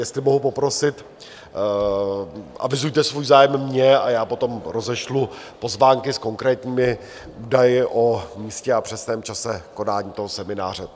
Jestli mohu poprosit, avizujte svůj zájem mně a já potom rozešlu pozvánky s konkrétními údaji o místě a přesném čase konání toho semináře.